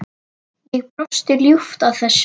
Ég brosi ljúft að þessu.